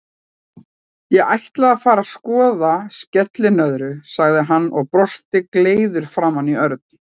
Ég ætla að fara að skoða skellinöðru, sagði hann og brosti gleiður framan í Örn.